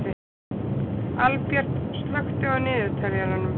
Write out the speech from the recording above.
Albjört, slökktu á niðurteljaranum.